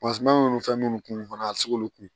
nunnu fɛn munnu kunna a bi se k'olu kun